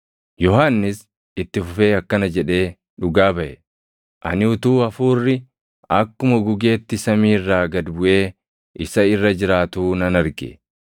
Yohannis itti fufee akkana jedhee dhugaa baʼe; “Ani utuu Hafuurri akkuma gugeetti samii irraa gad buʼee isa irra jiraatuu nan arge.